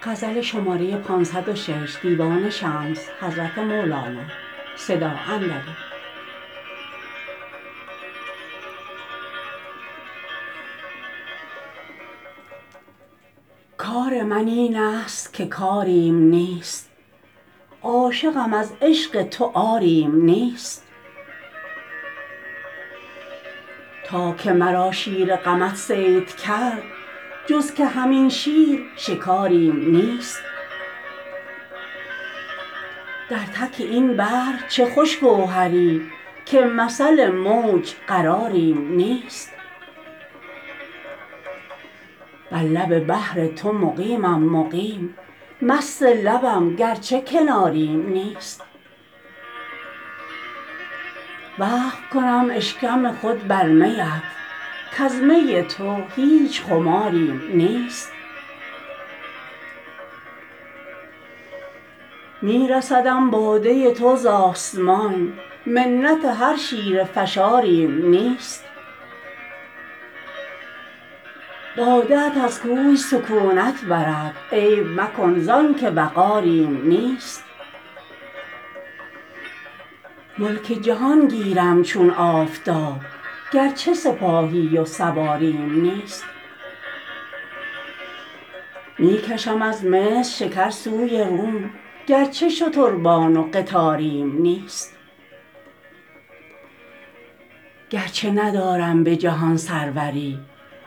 کار من اینست که کاریم نیست عاشقم از عشق تو عاریم نیست تا که مرا شیر غمت صید کرد جز که همین شیر شکاریم نیست در تک این بحر چه خوش گوهری که مثل موج قراریم نیست بر لب بحر تو مقیمم مقیم مست لبم گرچه کناریم نیست وقف کنم اشکم خود بر میت کز می تو هیچ خماریم نیست می رسدم باده تو ز آسمان منت هر شیره فشاریم نیست باده ات از کوه سکونت برد عیب مکن زان که وقاریم نیست ملک جهان گیرم چون آفتاب گرچه سپاهی و سواریم نیست می کشم از مصر شکر سوی روم گرچه شتربان و قطاریم نیست گرچه ندارم به جهان سروری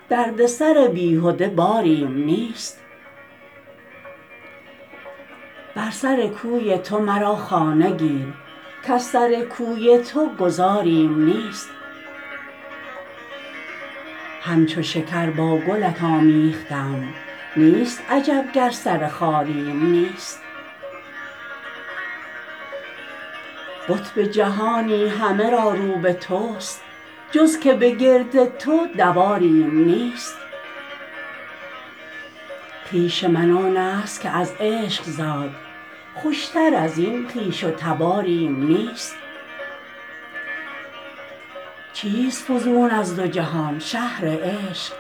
دردسر بیهده باریم نیست بر سر کوی تو مرا خانه گیر کز سر کوی تو گذاریم نیست همچو شکر با گلت آمیختم نیست عجب گر سر خاریم نیست قطب جهانی همه را رو به توست جز که به گرد تو دواریم نیست خویش من آنست که از عشق زاد خوشتر از این خویش و تباریم نیست چیست فزون از دو جهان -شهر عشق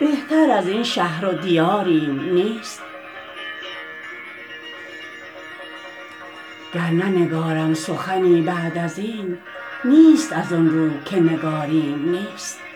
بهتر از این شهر و دیاریم نیست گر ننگارم سخنی بعد از این نیست از آن رو که نگاریم نیست